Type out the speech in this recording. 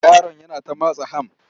Yaron yana ta matsa ham.